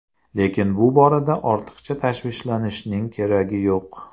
Lekin bu borada ortiqcha tashvishlanishning keragi yo‘q.